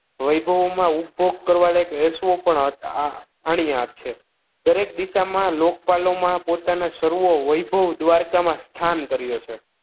વૈભવમાં ઉપભોગ કરવા લાયક વૈસણો પણ હતા આણીયાત છે દરેક દિશામાં લોકપાલોમાં પોતાના સર્વો વૈભવ દ્વારકામાં સ્થાન કર્યો છે